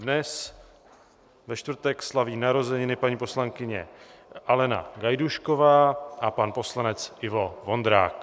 Dnes, ve čtvrtek, slaví narozeniny paní poslankyně Alena Gajdůšková a pan poslanec Ivo Vondrák.